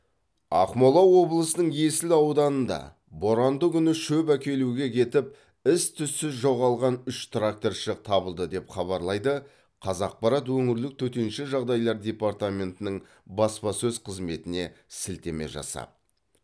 ақмола облысының есіл ауданында боранды күні шөп әкелуге кетіп із түзсіз жоғалған үш тракторшы табылды деп хабарлайды қазақпарат өңірлік төтенше жағдайлар департаментінің баспасөз қызметіне сілтеме жасап